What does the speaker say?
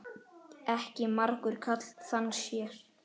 Ekki margur karl þann sér.